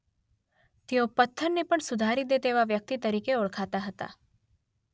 તેઓ પથ્થરને પણ સુધારી દે તેવી વ્યક્તિ તરીકે ઓળખાતા હતા.